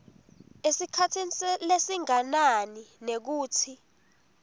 esikhatsini lesinganani nekutsi